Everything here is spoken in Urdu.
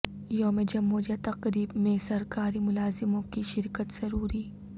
یوم جمہوریہ تقریب میں سرکاری ملازموں کی شرکت ضروری